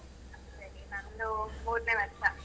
Actually, ನಂದು ಮೂರ್ನೇ ವರ್ಷ.